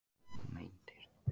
Meintir